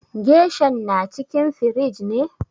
Geshan na cikin firij ne?